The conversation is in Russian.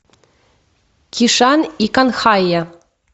кишан и канхайя